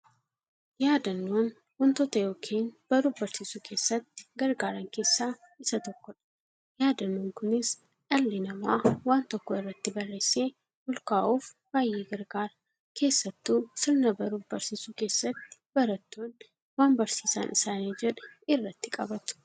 Yaadannoon wantoota yookiin baruuf barsiisuu keessatti gargaaran keessaa isa tokkodha. Yaadannoon kunis, dhalli namaa waan tokko irratti barreessee olkaa'uuf baay'ee gargaara. Keessaattuu sirna baruuf barsiisuu keessatti, baratoonni waan barsiisan isaanii jedhee irratti qabatu.